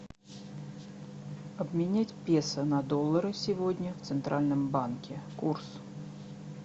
обменять песо на доллары сегодня в центральном банке курс